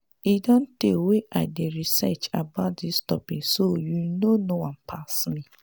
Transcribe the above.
e don tey wey i dey research about dis topic so you no know am pass me